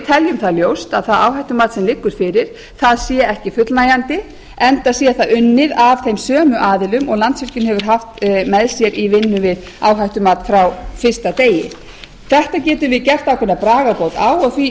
teljum það ljóst að það áhættumat sem liggur fara sé ekki fullnægjandi enda sé það unnið af þeim sömu aðilum og landsvirkjun hefur haft með sér í vinnu við áhættumat frá fyrsta degi þetta getum við gert ákveðna bragarbót á og